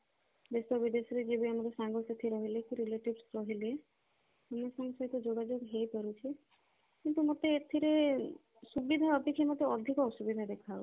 ଦେଶ ବିଦେଶରେ ଯିଏ ବି ଆମର ସାଙ୍ଗ ସାଥି ରହିଲେ ଯେତେ relatives ରହିଲେ ସମସ୍ତଙ୍କ ସହିତ ଯୋଗାଯୋଗ ହେଇ ପାରୁଛି କିନ୍ତୁ ମତେ ଏଥିରେ ସୁବିଧା ଅପେକ୍ଷା ମତେ ଅଧିକ ଅସୁବିଧା ଦେଖା ଯାଉଛି